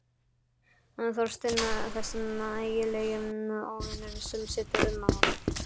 Þorstinn, þessi ægilegi óvinur sem situr um mann.